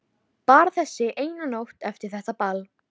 Bara þessi eina nótt eftir þetta ball.